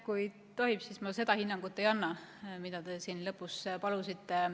Kui tohib, siis ma seda hinnangut ei annaks, mida te siin lõpus palusite.